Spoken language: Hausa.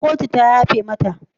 Ko kotu ta yafe mata?